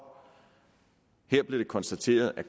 her blev det konstateret at